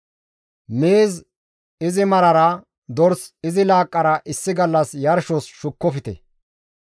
Miiz izi marara, dors izi laaqqara issi gallas yarshos shukkofte.